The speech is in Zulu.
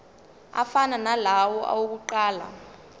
afana nalawo awokuqala